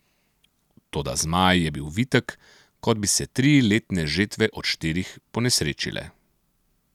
Toda Zmaj je bil vitek, kot bi se tri letne žetve od štirih ponesrečile.